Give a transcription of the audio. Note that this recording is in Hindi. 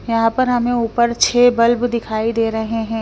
यहां पर हमें ऊपर छह बल्ब दिखाई दे रहे हैं।